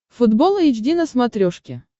футбол эйч ди на смотрешке